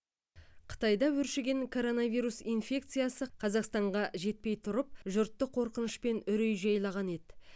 қытайда өршіген коронавирус инфекциясы қазақстанға жетпей тұрып жұртты қорқыныш пен үрей жайлаған еді